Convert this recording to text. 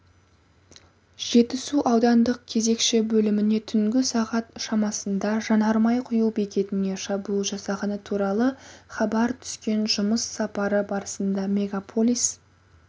жетісу аудандық кезекші бөліміне түнгі сағат шамасындажанармай құюбекетіне шабуыл жасалғанытуралы хабар түскен жұмыс сапары барысында мегаполис